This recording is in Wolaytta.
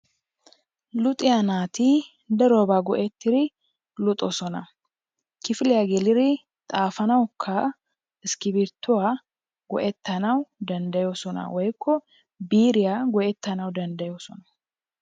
Luxiya naati darobaa go"ettidi luxxoosona, kifiliya geliri xaafanawukka iskkibrtuwaa go"ettanawu danddayoosona, woykko biiriya go'etanawu danddayoosona.